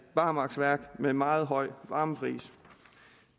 barmarksværk med en meget høj varmepris